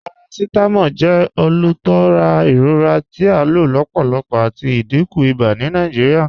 Paracetamol jẹ olútúrà iròra tí a ló lọ́pọ̀lọ́pọ̀ àti ìdíkún ìbà ni Nàìjíríà.